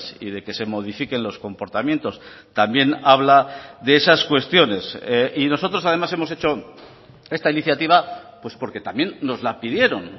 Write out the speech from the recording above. y de que se modifiquen los comportamientos también habla de esas cuestiones y nosotros además hemos hecho esta iniciativa pues porque también nos la pidieron